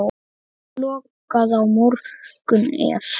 Kosti lokað á morgun ef.